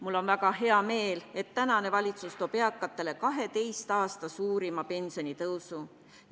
Mul on väga hea meel, et tänane valitsus toob eakatele 12 aasta suurima pensionitõusu.